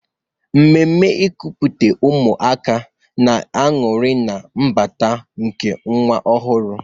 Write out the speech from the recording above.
Mmeme nkupute ụmụaka na-anuri na mbata nke nwa ọhụrụ.